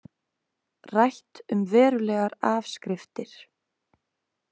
Rætt um verulegar afskriftir